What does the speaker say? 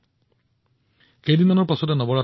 মাত্ৰ কেইদিন মান পিছতে নৱৰাত্ৰি